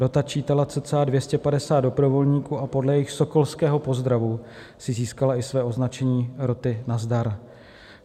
Rota čítala cca 250 dobrovolníků a podle jejich sokolského pozdravu si získala i své označení roty Nazdar.